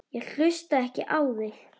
Ég hlusta ekki á þig.